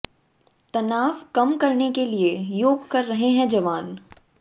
तनाव कम करने के लिए योग कर रहे हैं जवान